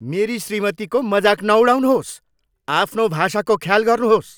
मेरी श्रीमतीको मजाक नउडाउनुहोस्! आफ्नो भाषाको ख्याल गर्नुहोस्!